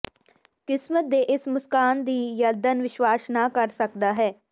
ਕਿਸਮਤ ਦੇ ਇਸ ਮੁਸਕਾਨ ਵੀ ਯਰਦਨ ਵਿਸ਼ਵਾਸ ਨਾ ਕਰ ਸਕਦਾ ਹੈ